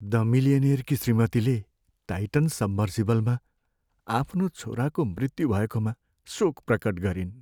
The मिलियनेयरकी श्रीमतीले Titan सबमर्सिबलमा आफ्नो छोराको मृत्यु भएकोमा शोक प्रकट गरिन्।